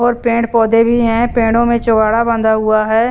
और पेड़-पौधे भी हैं पेड़ों में बांधा हुआ है।